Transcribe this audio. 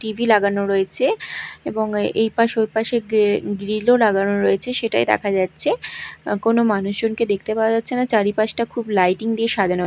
TV লাগানো রয়েচে এবং এই-এইপাশ ওইপাশে গে-গ্রীল -ও লাগানো রয়েচে সেটাই দেখা যাচ্চে আঃ কোনো মানুষজনকে দেখতে পাওয়া যাচ্ছে না চারিপাশটা খুব লাইটিং দিয়ে সাজানো--